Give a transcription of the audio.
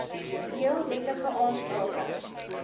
heel wettige aansprake